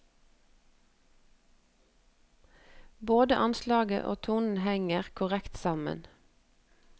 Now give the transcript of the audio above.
Både anslaget og tonen henger korrekt sammen.